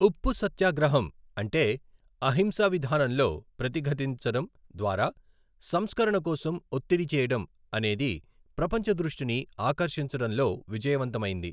ఉప్పు సత్యాగ్రహం అంటే 'అహింసా విధానంలో ప్రతిఘతించడం ద్వారా సంస్కరణ కోసం ఒత్తిడి చేయడం' అనేది ప్రపంచ దృష్టిని ఆకర్షించడంలో విజయవంతమైంది.